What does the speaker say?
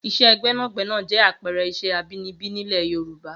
Iṣẹ́ gbẹ́nàgbẹ́nà jẹ́ àpẹẹrẹ iṣẹ́ abinibi nílẹ̀ Yorùbá